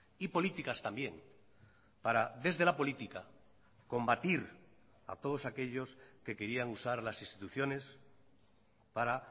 y políticas también para desde la política combatir a todos aquellos que querían usar las instituciones para